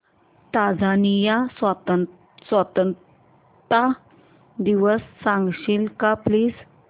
Tanzania स्वतंत्रता दिवस सांगशील का प्लीज